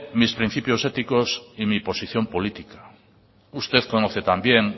mis principios éticos y mi posición política usted conoce también